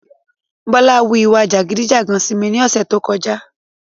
Bọ́lá wu ìwà jàgídí-jàgan sí mi ní ọ̀sẹ́ tó kọjá.